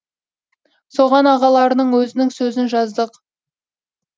соған ағаларының өзінің сөзін жаздық